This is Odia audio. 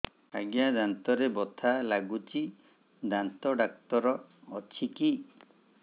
ଆଜ୍ଞା ଦାନ୍ତରେ ବଥା ଲାଗୁଚି ଦାନ୍ତ ଡାକ୍ତର ଅଛି କି